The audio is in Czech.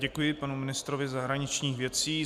Děkuji panu ministrovi zahraničních věcí.